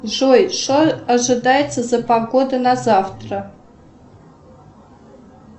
джой что ожидается за погода на завтра